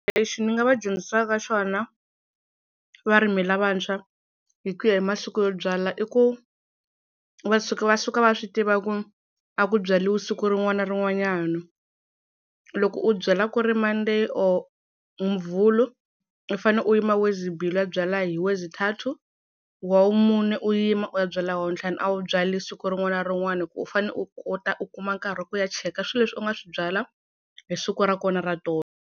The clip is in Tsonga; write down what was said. Lexi ni nga va dyondzisaka xona va rimi lavantshwa hi ku ya hi masiku yo byala i ku va suka va suka va swi tiva ku a ku byariwi siku rin'wana na rin'wanyana loko u byala ku ri mande or muvhulu u fane u yima lwesibili u ya byala hi lwezithathu, wavumune u yima u ya byala i wavuntlhanu a wu byali siku rin'wana na rin'wana hi ku u fanele u kota u kuma nkarhi ku ya cheka swilo leswi u nga swi byala hi siku ra kona ra tolo.